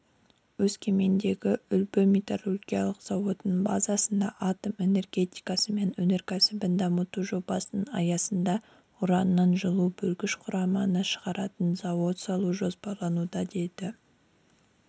өскемендегі үлбі металлургиялық зауытының базасында атом энергетикасы мен өнеркәсібін дамыту жобасының аясында ураннан жылу бөлгіш құраманы шығаратын зауыт салу жоспарлануда деді